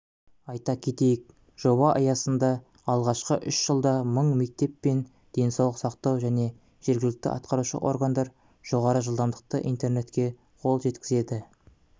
айта кетейік жоба аясында алғашқы үш жылда мың мектеп пен денсаулық сақтау және жергілікті атқарушы органдар жоғары жылдамдықты интернетке қол жеткізеді